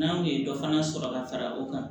N'an kun ye dɔ fana sɔrɔ ka fara o kan